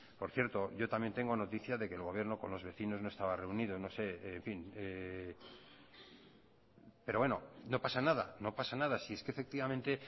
por cierto yo también tengo noticias de que el gobierno con los vecinos no estaba reunido pero bueno no pasa nada no pasa nada si es que efectivamente